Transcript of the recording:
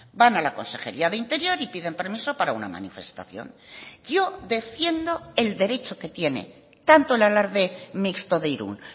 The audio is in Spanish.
van a la consejería de interior y piden permiso para una manifestación yo defiendo el derecho que tiene tanto el alarde mixto de irún